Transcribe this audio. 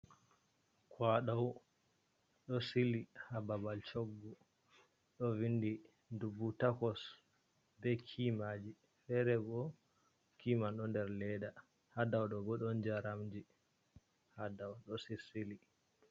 kwadau do sili ha babal choggu do vindi dubu takos be kimaji ferebo kiman do der ledda hadau dobo don jaramji hadau do sisili.